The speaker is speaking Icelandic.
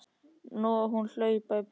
Nú á hún að hlaupa í burtu.